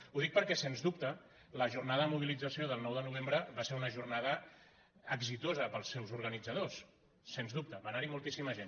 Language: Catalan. ho dic perquè sens dubte la jornada de mobilització del nou de novembre va ser una jornada exitosa per als seus organitzadors sens dubte va anar·hi moltíssima gent